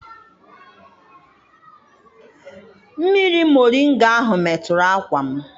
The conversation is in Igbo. Mmiri moringa ahụ meturu akwa m.